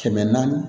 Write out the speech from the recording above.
Kɛmɛ naani